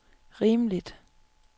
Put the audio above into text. rimeligt